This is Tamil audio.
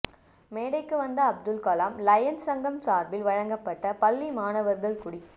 மேடைக்கு வந்த அப்துல்கலாம் லயன்ஸ் சங்கம் சார்பில் வழங்கப்பட்ட பள்ளி மாணவர்கள் குடி